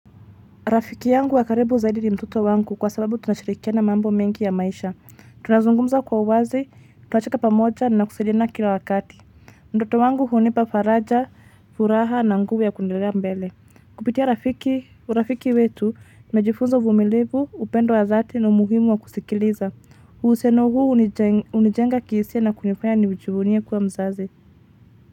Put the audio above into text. Rafiki yangu wa karibu zaidi ni mtoto wangu kwa sababu tunashirikiana mambo mengi ya maisha. Tunazungumza kwa uwazi, tunacheka pamoja na kusaidiana kila wakati. Mtoto wangu hunipa faraja, furaha na nguvu ya kuendelea mbele. Kupitia urafiki wetu, nimejifunza uvumilivu, upendo wa dhati na umuhimu wa kusikiliza. Husiano huu unijenga kihisia na kunifanya ni nijivunie kuwa mzazi.